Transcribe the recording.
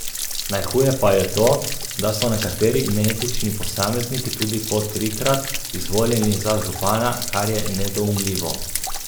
Najhuje pa je to, da so nekateri neetični posamezniki tudi po trikrat izvoljeni za župana, kar je nedoumljivo.